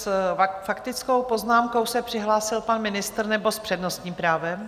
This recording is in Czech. S faktickou poznámkou se přihlásil pan ministr, nebo s přednostním právem?